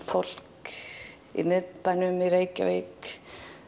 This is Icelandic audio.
fólk í miðbænum í Reykjavík